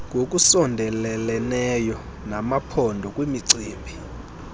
ngokusondeleleneyo namaphondo kwimicibi